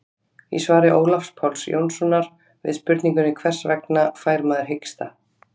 í svari ólafs páls jónssonar við spurningunni hvers vegna fær maður hiksta